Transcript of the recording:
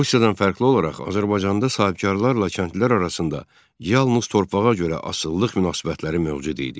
Rusiyadan fərqli olaraq Azərbaycanda sahibkarlarla kəndlilər arasında yalnız torpağa görə asılılıq münasibətləri mövcud idi.